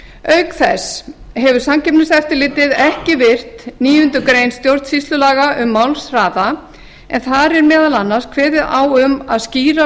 auk þess hefur samkeppniseftirlitið ekki virt níundu grein stjórnsýslulaga um málshraða en þar er meðal annars kveðið á um að skýra